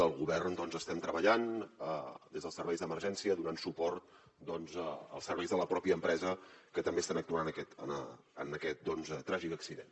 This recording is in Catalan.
el govern doncs estem treballant des dels serveis d’emergència donant suport als serveis de la pròpia empresa que també estan actuant en aquest tràgic accident